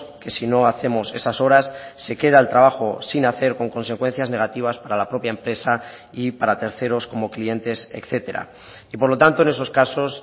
que si no hacemos esas horas se queda el trabajo sin hacer con consecuencias negativas para la propia empresa y para terceros como clientes etcétera y por lo tanto en esos casos